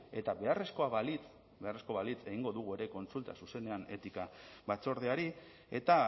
eta beharrezkoa balitz beharrezkoa balitz egingo dugu ere kontsulta zuzenean etika batzordeari eta